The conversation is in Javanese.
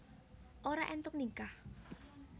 Ora éntuk nikah